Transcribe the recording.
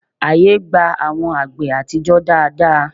Ààyè gba àwọn àgbè àtijọ́ dáadáa